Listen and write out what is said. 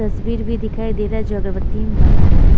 तस्वीर भी दिखाई दे रहा है जो अगरबत्ती में बना है।